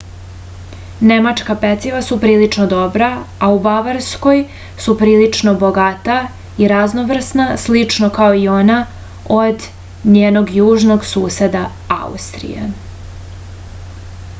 nemačka peciva su prilično dobra a u bavarskoj su prilično bogata i raznovrsna slično kao i ona od njenog južnog suseda austrije